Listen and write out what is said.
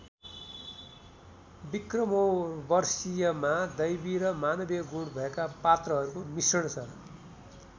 विक्रमोर्वशीयमा दैवी र मानवीय गुण भएका पात्रहरूको मिश्रण छ ।